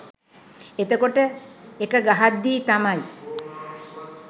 එතකොට එක ගහද්දි තමයි